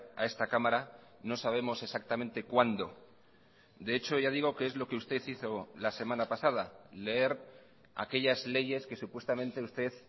a esta cámara no sabemos exactamente cuándo de hecho ya digo que es lo que usted hizo la semana pasada leer aquellas leyes que supuestamente usted